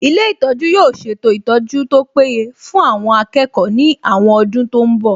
Ilé ìtọ́jú yóò ṣètò ìtọ́jú tó péye fún àwọn akẹ́kọ̀ọ́ ní àwọn ọdún tó ń bọ̀